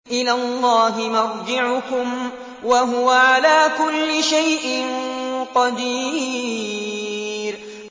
إِلَى اللَّهِ مَرْجِعُكُمْ ۖ وَهُوَ عَلَىٰ كُلِّ شَيْءٍ قَدِيرٌ